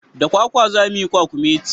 Da kwakwa za muyi kwakumeti